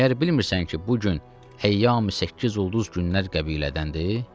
Məyər bilmirsən ki, bu gün həyyami səkkizulduz günlər qəbilədəndir?